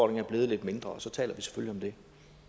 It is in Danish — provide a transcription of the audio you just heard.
er blevet lidt mindre og så taler vi selvfølgelig